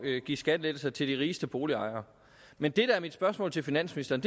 at give skattelettelser til de rigeste boligejere men det der er mit spørgsmål til finansministeren